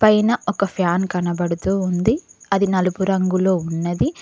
పైన ఒక ఫ్యాన్ కనబడుతూ ఉంది అది నలుపు రంగులో ఉన్నది.